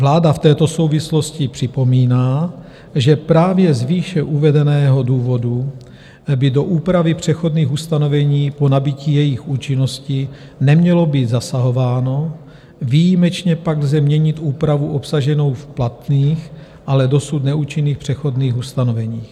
Vláda v této souvislosti připomíná, že právě z výše uvedeného důvodu by do úpravy přechodných ustanovení po nabytí jejich účinnosti nemělo být zasahováno, výjimečně pak lze měnit úpravu obsaženou v platných, ale dosud neúčinných přechodných ustanoveních.